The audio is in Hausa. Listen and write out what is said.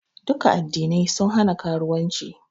Duka Addinai sun hana karuwanci